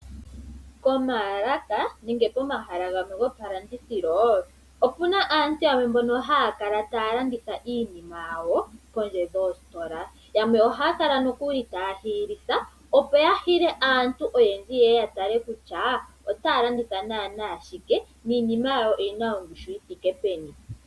Pomaalaka nenge pomahala gomalandithilo. Opuna aantu mbono haya kala taya landitha iinima yawo poondje dhoositola. Yamwe ohaya kala taya hiyilitha opo ya hile aantu oyendji ye ye ya tale kutya ota ya landitha naanawa shike niinima yawo oyina ongushu yithike peni.